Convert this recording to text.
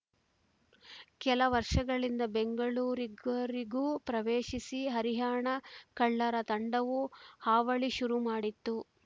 ಕೆಲ ವರ್ಷಗಳಿಂದ ಬೆಂಗಳೂರುಗರಿಗೂ ಪ್ರವೇಶಿಸಿ ಹರಿಯಾಣ ಕಳ್ಳರ ತಂಡವು ಹಾವಳಿ ಶುರು ಮಾಡಿತ್ತು